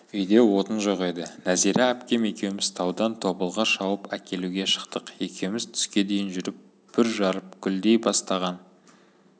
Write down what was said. үйде отын жоқ еді нәзира әпкем екеуміз таудан тобылғы шауып әкелуге шықтық екеуміз түске дейін жүріп бүр жарып гүлдей бастаған